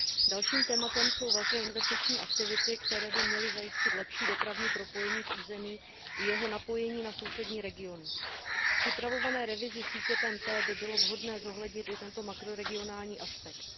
Dalším tématem jsou velké investiční aktivity, které by měly zajistit lepší dopravní propojení v území i jeho napojení na sousední regiony. V připravované revizi sítě TEN T by bylo vhodné zohlednit i tento makroregionální aspekt.